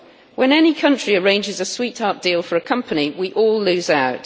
When any country arranges a sweetheart deal for a company we all lose out.